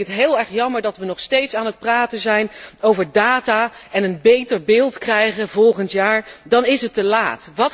En dan vind ik het heel erg jammer dat wij nog steeds aan het praten zijn over data en een beter beeld krijgen, volgend jaar, dan is het te laat!